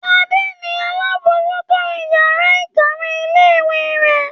Adé ni alábòójútó ìyàrá-ìkàwé ilé-ìwé rẹ̀.